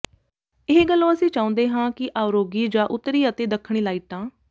ਇਹ ਗਲੋ ਅਸੀਂ ਚਾਹੁੰਦੇ ਹਾਂ ਕਿ ਅਉਰੋਰੀ ਜਾਂ ਉੱਤਰੀ ਅਤੇ ਦੱਖਣੀ ਲਾਈਟਾਂ